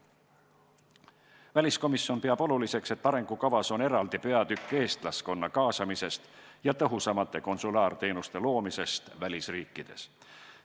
Väliskomisjon peab oluliseks, et arengukavas on eraldi peatükk eestlaskonna kaasamisest ja tõhusamate konsulaarteenuste loomisest välisriikides.